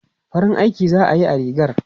Farin aiki za a yi a rigar?